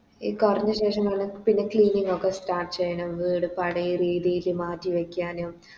ഈ കൊറഞ്ഞ ശേഷം നമ്മള് പിന്നെ Clean ഒക്കെ Start ചെയ്യണം വീട് പഴയ രീതില് മാറ്റി വെക്കാനും